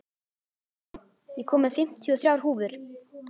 Álfey, ég kom með fimmtíu og þrjár húfur!